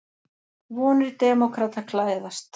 Vonir demókrata glæðast